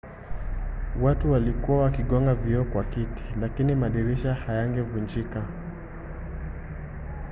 watu walikuwa wakigonga vioo kwa viti lakini madirisha hayangevunjika